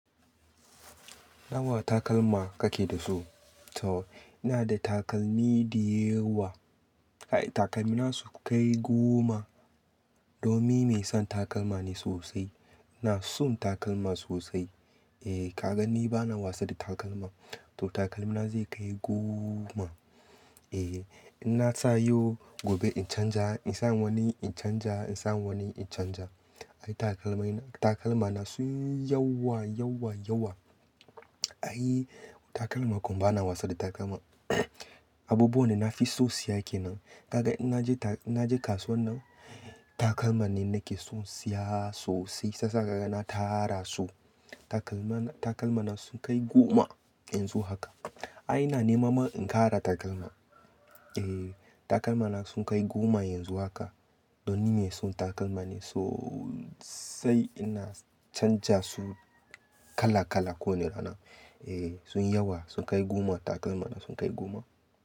Nawa takalma kake da su? To ina da takalmi diyawa. Ai takalmi na su kai goma. Domi me son takalma ne sosai. Ina son takalma sosai. Eh ka ga ni bana wasa da takalma. To takalmi na zai kai goma. Eh ina sayo gobe in canja, in samu wani in canja, in samu wani in canja. Ai takalmai takalma na sun yawa, yawa, yawa. Ai takalma kuma bana wasa da takalma. Abubuwan da na fi son siya kenan. Kaga in naje ta-- naje kasuwar nan takalma ne nake son siya sosai. Shi yasa naga na tara su. Kaga in naje ta-- naje kasuwar nan takalma ne nake son siya sosai. Shi yasa naga na tara su. Ai ina nema ma in ƙara takalma Takalma na sun kai goma yanzu haka. Ni mai son takalma ne sosai ina canja su kala-kala Sun yi yawa sun kai goma takalma na sun kai goma.